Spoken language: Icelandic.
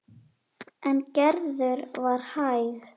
En Gerður var hæg.